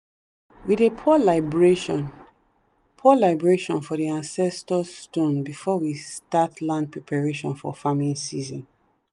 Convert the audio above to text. we dey pour libration pour libration for the ancestor stone before we start land preparation for farming season.